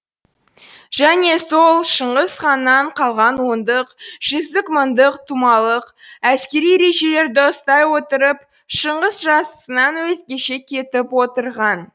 және сол шыңғыс ханнан қалған ондық жүздік мыңдық тұмалық әскери ережелерді ұстай отырып шыңғыс жасысынан өзгеше кетіп отырған